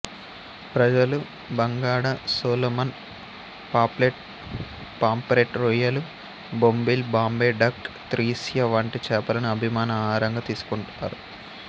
ప్రజలు బంగాడా సొలోమన్ పాప్లెట్ పాంఫ్రెట్ రొయ్యలు బొంబిల్ బాంబే డక్ తిస్ర్య వంటి చేపలను అభిమాన ఆహారంగా తీసుకుంటున్నారు